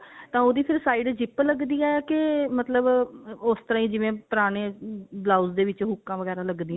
ਤਾਂ ਉਹਦੀ ਫੇਰ side zip ਲੱਗਦੀ ਆ ਕਿ ਮਤਲਬ ਉਸ ਤਰ੍ਹਾਂ ਹੀ ਜਿਵੇਂ ਪੁਰਾਣੇ blouse ਦੇ ਵਿੱਚ ਹੂਕਾਂ ਵਗੇਰਾ ਲੱਗਦੀਆਂ